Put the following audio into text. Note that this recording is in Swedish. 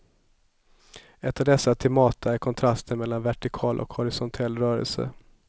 Ett av dessa temata är kontrasten mellan vertikal och horisontell rörelse.